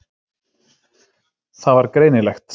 Það var greinilegt.